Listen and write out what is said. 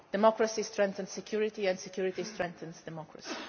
Democracy strengthens security and security strengthens democracy.